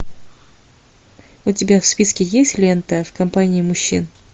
у тебя в списке есть лента в компании мужчин